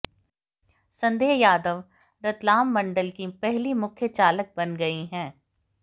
संध्या यादव रतलाम मंडल की पहली मुख्य चालक बन गई हैं